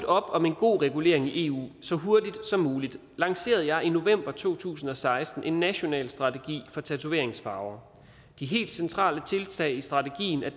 om en god regulering i eu så hurtigt som muligt lancerede jeg i november to tusind og seksten en national strategi for tatoveringsfarver det helt centrale tiltag i strategien er